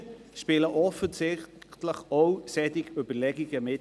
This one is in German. Hier spielen offensichtlich auch solche Überlegungen mit.